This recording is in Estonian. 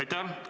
Aitäh!